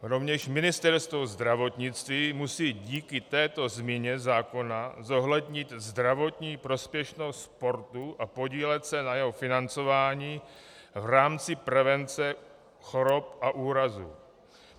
Rovněž Ministerstvo zdravotnictví musí díky této změně zákona zohlednit zdravotní prospěšnost sportu a podílet se na jeho financování v rámci prevence chorob a úrazů.